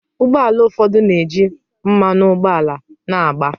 Ụgbọ ala ụfọdụ na-eji mmanụ ụgbọala na-agba.